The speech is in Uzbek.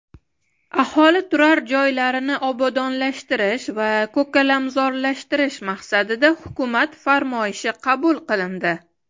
aholi turar joylarini obodonlashtirish va ko‘kalamzorlashtirish maqsadida Hukumat farmoyishi qabul qilindi.